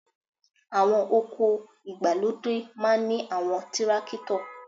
Àwọn oko ìgbàlódé máa ń ní àwọn tírákítọ̀